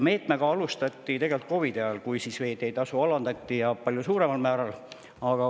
Meetmega alustati COVID-i ajal, kui veeteetasu alandati, ja palju suuremal määral.